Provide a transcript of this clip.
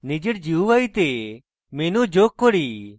নিজের gui তে menu যোগ করি